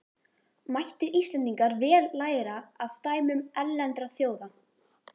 Mættu Íslendingar vel læra af dæmum erlendra þjóða.